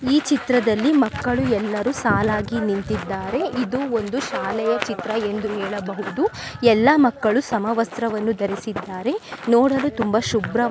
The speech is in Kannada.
ಈ ಚಿತ್ರದಲ್ಲಿ ಮಕ್ಕಳು ಎಲ್ಲರೂ ಸಾಲಾಗಿ ನಿಂತಿದ್ದಾರೆ. ಇದು ಒಂದು ಶಾಲೆಯ ಚಿತ್ರ ಎಂದು ಹೇಳಬಹುದು. ಎಲ್ಲ ಮಕ್ಕಳು ಸಮವಸ್ತ್ರವನ್ನು ಧರಿಸಿದ್ದಾರೆ. ನೋಡಲು ತುಂಬಾ ಶುಭ್ರ--